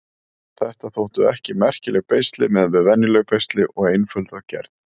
Þetta þóttu ekki merkileg beisli miðað við venjuleg beisli og einföld að gerð.